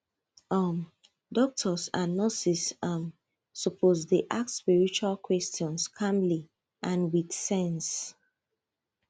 um doctors and nurses um suppose dey ask spiritual questions calmly and with sense